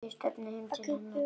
Ég stefni heim til hennar.